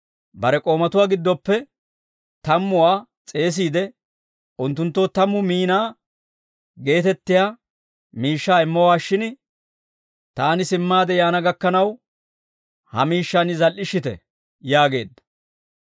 Bare k'oomatuwaa giddoppe tammuwaa s'eesiide, unttunttoo tammu miinaa geetettiyaa miishshaa immowaashshin, ‹Taani simmaade yaana gakkanaw, ha miishshaan zal"ishshite› yaageedda.